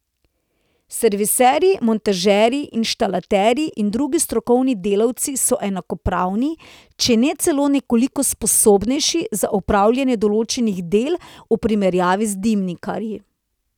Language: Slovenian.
Serviserji, montažerji, inštalaterji in drugi strokovni delavci so enakopravni, če ne celo nekoliko sposobnejši za opravljanje določenih del v primerjavi z dimnikarji.